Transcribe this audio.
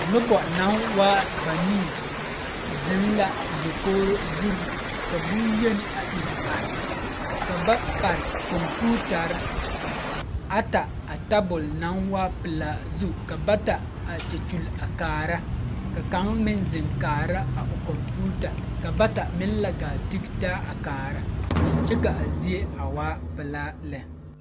Nobɔ yaga arɛɛ dikaraa poɔŋ ka ba mine are fuolee kyɛ pɛgle baagirre kyɛ yɛre kpare tɛɛtɛɛ.